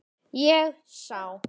Ég sá.